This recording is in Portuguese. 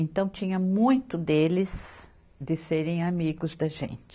Então tinha muito deles de serem amigos da gente.